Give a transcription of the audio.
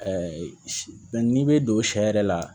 n'i bɛ don sɛ yɛrɛ la